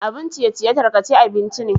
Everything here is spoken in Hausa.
Abun ciye-ciye takarce abinci ne.